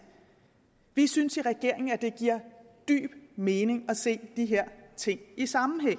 vi synes i regeringen at det giver dyb mening at se de her ting i sammenhæng og